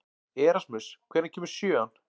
Erasmus, hvenær kemur sjöan?